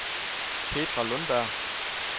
Petra Lundberg